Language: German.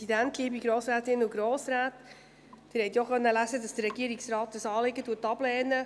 Sie konnten lesen, dass die Regierung dieses Anliegen ablehnt.